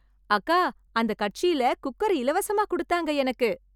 அக்கா, அந்த கட்சில குக்கர் இலவசமா குடுத்தாங்க எனக்கு.